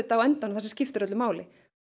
á endanum það sem skiptir öllu máli